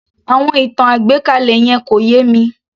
Àwọn ìtàn àgbékalẹ̀ yẹn kò yé mi